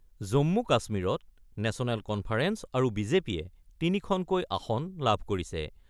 জম্মু-কাশ্মীৰত national conference আৰু বিজেপিয়ে ৩ খনকৈ আসন লাভ কৰিছে।